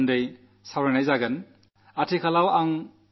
ഇതിലൂടെ തൊഴിലവസരങ്ങൾ എങ്ങനെ വർധിപ്പിക്കാം